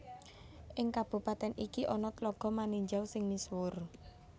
Ing kabupatèn iki ana Tlaga Maninjau sing misuwur